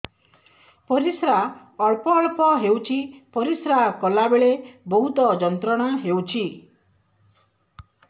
ପରିଶ୍ରା ଅଳ୍ପ ଅଳ୍ପ ହେଉଛି ପରିଶ୍ରା କଲା ବେଳେ ବହୁତ ଯନ୍ତ୍ରଣା ହେଉଛି